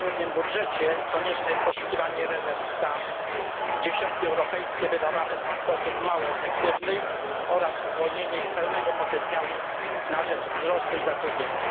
Przy tak trudnym budżecie konieczne jest poszukiwanie rezerw tam, gdzie środki europejskie wydawane są w sposób mało efektywny oraz uwolnienie ich pełnego potencjału na rzecz wzrostu i zatrudnienia.